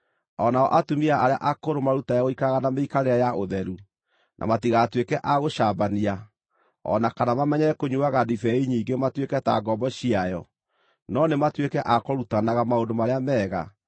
O nao atumia arĩa akũrũ marutage gũikaraga na mĩikarĩre ya ũtheru, na matigatuĩke a gũcambania o na kana mamenyere kũnyuuaga ndibei nyingĩ matuĩke ta ngombo ciayo, no nĩ matuĩke a kũrutanaga maũndũ marĩa mega,